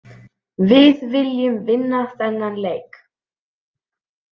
Við viljum vinna þennan leik.